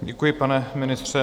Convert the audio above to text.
Děkuji, pane ministře.